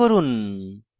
o নির্বাচন করুন